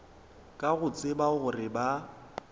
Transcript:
ka go tseba gore ba